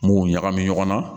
N b'u ɲagami ɲɔgɔn na